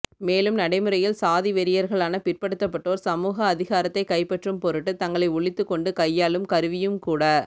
மேலும் நடைமுறையில் சாதிவெறியர்களான பிற்படுத்தப்பட்டோர் சமூக அதிகாரத்தைக் கைப்பற்றும் பொருட்டு தங்களை ஒளித்துக்கொண்டு கையாளும் கருவியும்கூட